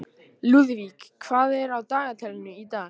Lúðvíg, hvað er á dagatalinu í dag?